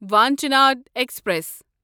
وانچِند express